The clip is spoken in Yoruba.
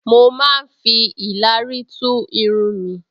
Mo máa ń fi ìlàrí tún irun mi